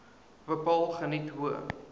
bepaal geniet hoë